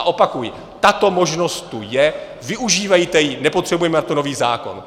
A opakuji, tato možnost tu je, využívejte ji, nepotřebujeme na to nový zákon.